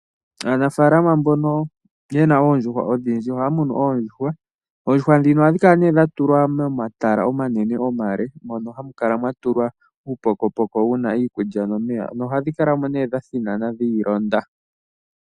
Aanafaalama mbono yena oondjuhwa odhindji ,ohaya munu oondjuhwa. Oondjuhwa dhino ohadhi kala dha tulwa momatala omanene omale, mpono hamu kala mwa tulwa uupokopoko wuna iikulya nomeya nohadhi kala mo nee dha thinana dhiilonda.